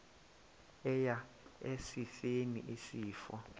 eya esifeni isifo